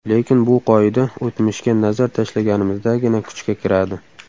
Lekin bu qoida o‘tmishga nazar tashlaganimizdagina kuchga kiradi.